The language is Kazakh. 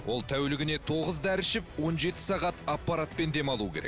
ол тәулігіне тоғыз дәрі ішіп он жеті сағат аппаратпен дем алуы керек